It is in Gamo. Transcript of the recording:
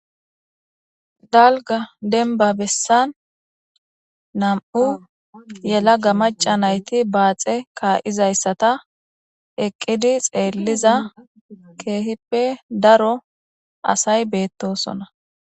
Dalga denba bessan nam'u yela ga maca nayti baaxe kaa'izayssata eqqidi xeelliza keehippe daro asay beettosona.